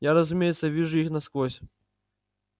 я разумеется вижу их насквозь